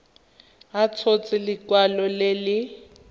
a tshotse lekwalo le le